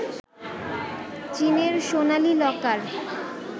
চীনের সোনালি লকার